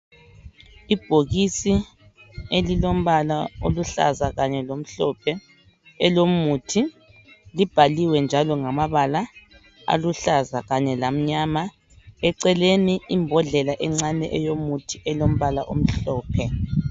Ibhokisi elilombala oluhlaza kanye lomhlophe elomuthi libhaliwe njalo ngamabala aluhlaza kanye lamnyama eceleni imbhodlela encane eyomuthi elombala omhlophe.